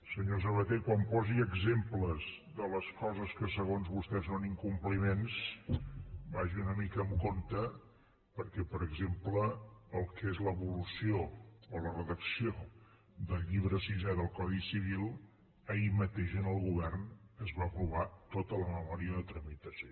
senyor sabaté quan posi exemples de les coses que segons vostès són incompliments vagi una mica amb compte perquè per exemple el que és l’evolució o la redacció del llibre sisè del codi civil ahir mateix en el govern es va aprovar tota la memòria de tramitació